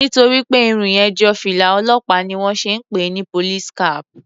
Nítorí pé Irun yẹn jọ fìlà olópàá ni wón ṣe ń pè ni police cap.